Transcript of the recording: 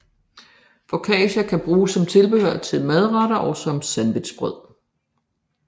Focaccia kan bruge som tilbehør til madretter og som sandwichbrød